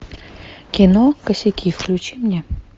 кино косяки включи мне